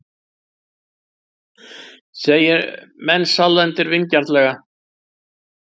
segir Mensalder vingjarnlega.